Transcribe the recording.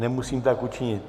Nemusím tak učinit.